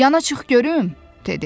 Yana çıx görüm, dedi.